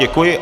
Děkuji.